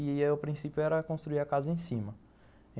E o princípio era construir a casa em cima.